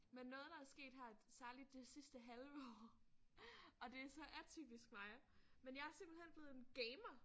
Men noget der er sket her særligt det sidste halve år og det er så atypisk mig men jeg er simpelthen blevet en gamer